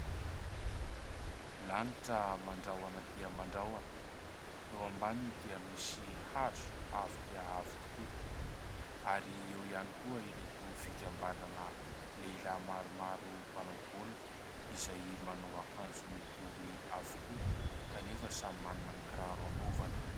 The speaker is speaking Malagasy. Lanitra mandrahona dia mandrahona, eo ambaniny dia misy hazo avo dia avo tokoa ary eo ihany koa ireto fikambanana lehilahy maromaro mpanao baolina izay manao akanjo mitovy avokoa kanefa samy manana ny kiraro hanaovany.